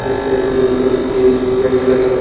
जिस पे तीन ए.सी. के वेंट लगे हैं।